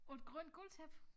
Og et grønt gulvtæppe